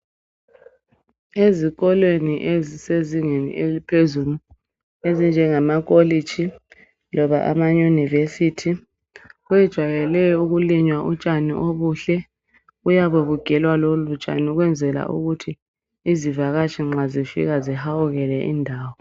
Ezikolweni ezisezingeni eliphezulu ezinjengama koleji loba amayunivesithi kujayelwe ukulinywa utshani obuhle, buyabebugelwa lolu tshani ukwenzela ukuthi izivakatshi nxa zifika zihawukele indawo.